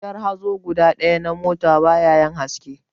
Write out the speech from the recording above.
Wutar hazo guda ɗaya na mota ta ba yayin haske